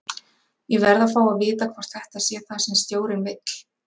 Ég verð að fá að vita hvort þetta sé það sem stjórinn vill?